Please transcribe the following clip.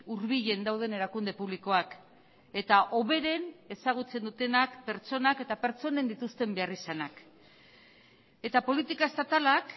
hurbilen dauden erakunde publikoak eta hoberen ezagutzen dutenak pertsonak eta pertsonen dituzten beharrizanak eta politika estatalak